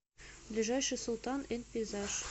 ближайший султан энд пейзаж